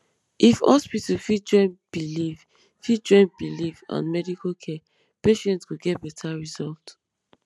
if hospital fit join belief fit join belief and medical care patient go get better result